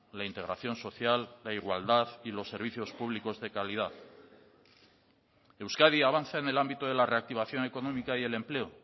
la integración social la igualdad y los servicios públicos de calidad euskadi avanza en el ámbito de la reactivación económica y el empleo